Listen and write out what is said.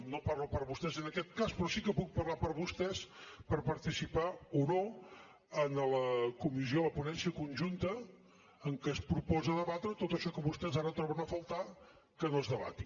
no parlo per vostès en aquest cas però sí que puc parlar per vostès per participar o no en la comissió en la ponència conjunta en què es proposa debatre tot això que vostès ara troben a faltar que no es debati